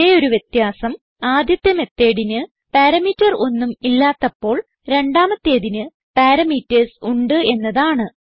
ഒരേ ഒരു വ്യത്യാസം ആദ്യത്തെ methodന് പാരാമീറ്റർ ഒന്നും ഇല്ലാത്തപ്പോൾ രണ്ടാമത്തേതിന് പാരാമീറ്റർസ് ഉണ്ട് എന്നതാണ്